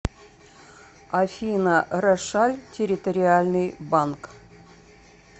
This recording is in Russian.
афина рошаль территориальный банк